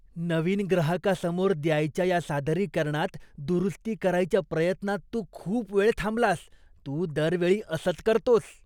नवीन ग्राहकासमोर द्यायच्या या सादरीकरणात दुरुस्ती करायच्या प्रयत्नात तू खूप वेळ थांबलास. तू दरवेळी असंच करतोस.